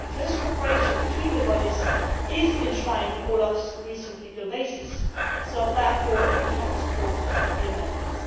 Close cooperation between the bodies is enshrined in OLAF's recent legal basis, therefore we do not support the amendments.